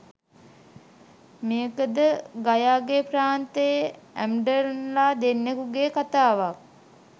මේකද ඟයාගේ ප්‍රාන්තයේ ඇම්ඩන්ලා දෙන්නෙකුගේ කතාවක්.